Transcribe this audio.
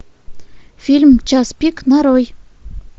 фильм час пик нарой